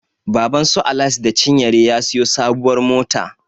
Babansu Alice da cinyere ya siyo sabuwar mota.